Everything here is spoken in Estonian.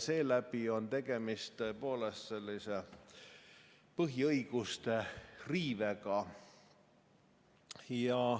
Seeläbi on tegemist tõepoolest põhiõiguste riivega.